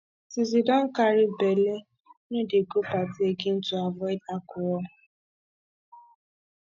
since you don carry bele no dey go party again to avoid alcohol